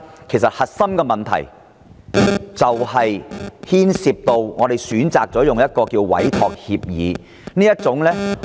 其實，問題的癥結在於政府選擇採用委託協議的方式進行。